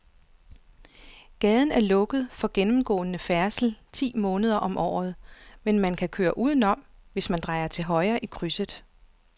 Gaden er lukket for gennemgående færdsel ti måneder om året, men man kan køre udenom, hvis man drejer til højre i krydset.